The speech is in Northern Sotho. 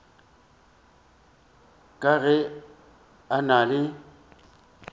ka ge a na le